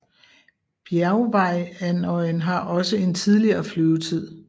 Bjergvejrandøjen har også en tidligere flyvetid